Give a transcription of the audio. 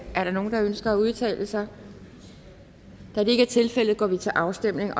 er der nogen der ønsker at udtale sig da det ikke er tilfældet går vi til afstemning